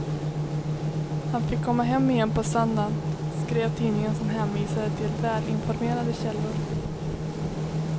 Han fick komma hem igen på söndagen, skrev tidningen som hänvisade till välinformerade källor.